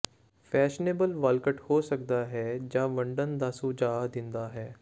fashionable ਵਾਲਕਟ ਹੋ ਸਕਦਾ ਹੈ ਜਾਂ ਵੰਡਣ ਦਾ ਸੁਝਾਅ ਦਿੰਦਾ ਹੈ